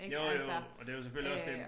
Jo jo og det jo selvfølgelig også det